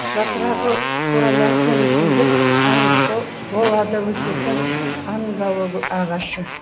жапырағы қурамайтын өсімдік анголада өсетін ангола ағашы